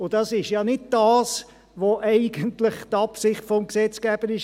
Dies ist ja nicht die Absicht des Gesetzgebers.